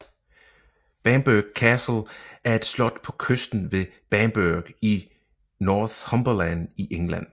Bamburgh Castle er et slot på kysten ved Bamburgh i Northumberland i England